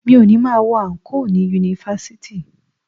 Mi ò ní máa wọ àǹkóò ni Yunifásítì.